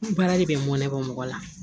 Baara de bɛ mɔn mɔgɔ la